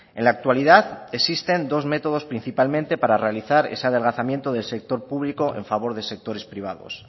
en la actualidad existen dos métodos principalmente para realizar ese adelgazamiento del sector público en favor de sectores privados